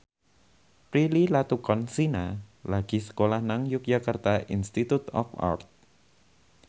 Prilly Latuconsina lagi sekolah nang Yogyakarta Institute of Art